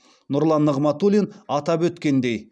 нұрлан нығматулин атап өткендей